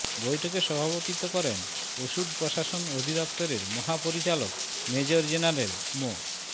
বৈঠকে সভাপতিত্ব করেন ওষুধ প্রশাসন অধিদফতরের মহাপরিচালক মেজর জেনারেল মো